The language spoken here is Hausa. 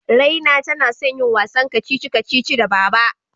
Raina tana son yin wasan kacici-kacici da Baba.